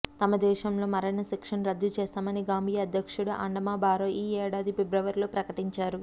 తమ దేశంలో మరణ శిక్షను రద్దు చేస్తామని గాంబియా అధ్యక్షుడు అడామా బారో ఈ ఏడాది ఫిబ్రవరిలో ప్రకటించారు